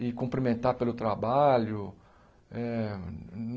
E cumprimentar pelo trabalho. Eh